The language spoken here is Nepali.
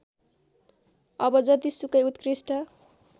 अब जतिसुकै उत्कृष्ट